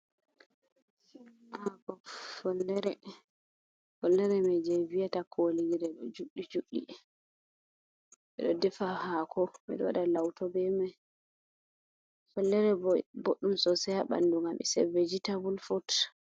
"Follere" follere mai je ɓe viyata kolire ɗo juɗɗi ɓeɗo defa hako ɓeɗo lauto be mai follere boɗɗum sosai ha bandu ngam is vigitable fut.